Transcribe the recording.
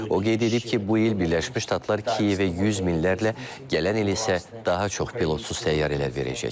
O qeyd edib ki, bu il Birləşmiş Ştatlar Kiyevə yüz minlərlə, gələn il isə daha çox pilotsuz təyyarələr verəcək.